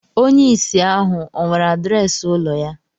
Onye ìsì ahu ọ̀ nwere adreesị ụlọ ya